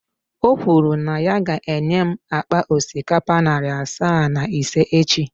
O kwuru na ya ga-enye m akpa osikapa narị asaa na ise echi.